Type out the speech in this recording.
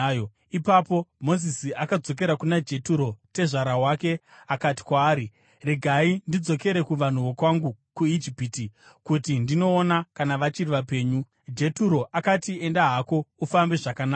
Ipapo Mozisi akadzokera kuna Jeturo tezvara wake akati kwaari, “Regai ndidzokere kuvanhu vokwangu kuIjipiti kuti ndinoona kana vachiri vapenyu.” Jeturo akati, “Enda hako, ufambe zvakanaka.”